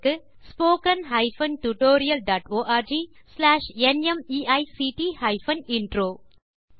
spoken hyphen tutorial dot org slash NMEICT hyphen intro மூல பாடம் Desi crew solutions